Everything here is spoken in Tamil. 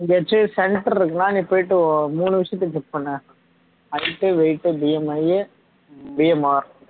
எங்கயாச்சும் center இருக்குன்னா நீ போயிட்டு மூணு விஷயத்துக்கு check பண்ணு height weightBMIBMR